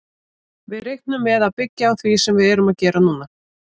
Við reiknum með að byggja á því sem við erum að gera núna.